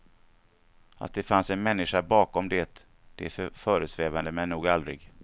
Att det fanns en människa bakom det, det föresvävade mig nog aldrig.